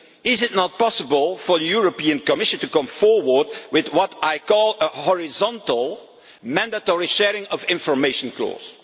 Is it not possible for the Commission to come forward with what I call a horizontal mandatory sharing of information'